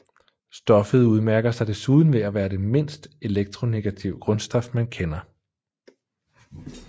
Stoffet udmærker sig desuden ved at være det mindst elektronegative grundstof man kender